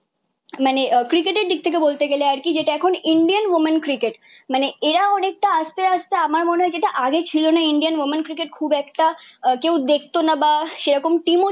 মানে ক্রিকেটের দিক থেকে বলতে গেলে আর কি, যেটা এখন ইন্ডিয়ান ওমেন ক্রিকেট। মানে এরা অনেকটা আসতে আসতে আমার মনে হয় যেটা আগে ছিল না ইন্ডিয়ান ওমেন ক্রিকেট খুব একটা কেউ দেখতো না বা সেরকম টিমও